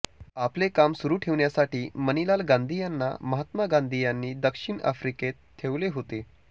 आपले काम सुरू ठेवण्यासाठी मणिलाल गांधी यांना महात्मा गांधी यांनी दक्षिण आफ्रिकेत ठेवले होते